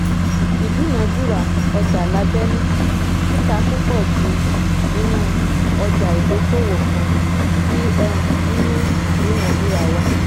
ìdúnàdúràá ọjà lábẹ́nú - títa púpọ̀ jù nínú ọjà ìdókòwò kan tí um ń mú ìdúnàdúrà wá. um